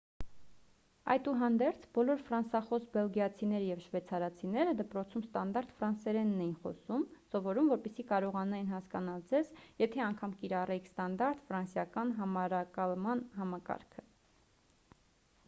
այդուհանդերձ բոլոր ֆրանսախոս բելգիացիները և շվեցարացիները դպրոցում ստանդարտ ֆրանսերենն էին սովորում որպեսզի կարողանային հասկանալ ձեզ եթե անգամ կիրառեիք ստանդարտ ֆրանսիական համարակալման համակարգը